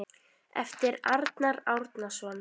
eftir Arnar Árnason